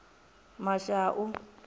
mashau